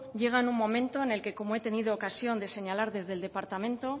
llega en un momento en el que como he tenido ocasión de señalar desde el departamento